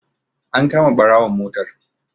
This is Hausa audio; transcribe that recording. An kama ɓarawon motar.